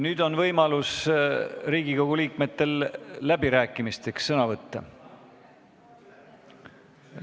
Nüüd on võimalus Riigikogu liikmetel läbirääkimisteks sõna võtta.